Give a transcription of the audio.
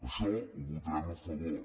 això ho votarem a favor